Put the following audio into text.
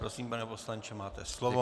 Prosím, pane poslanče, máte slovo.